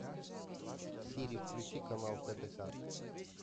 сири включи канал тдк